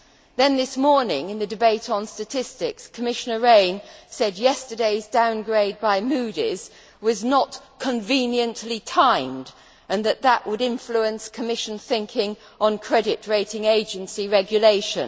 Then this morning, in the debate on statistics, Commissioner Rehn said yesterday's downgrade by Moody's was not conveniently timed' and that that would influence Commission thinking on credit rating agency regulation.